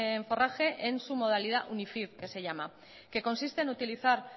en forraje en su modalidad que se llama que consiste en utilizar